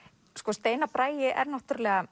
steinar Bragi er náttúrulega